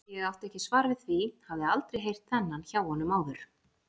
Ég átti ekki svar við því, hafði aldrei heyrt þennan hjá honum áður.